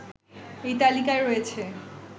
এই তালিকায় রয়েছে